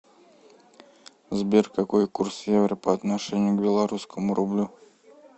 сбер какой курс евро по отношению к белорусскому рублю